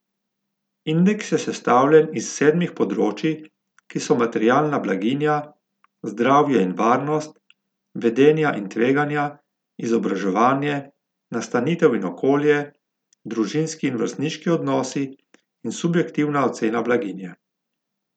Indeks je sestavljen iz sedmih področij, ki so materialna blaginja, zdravje in varnost, vedenja in tveganja, izobraževanje, nastanitev in okolje, družinski in vrstniški odnosi in subjektivna ocena blaginje.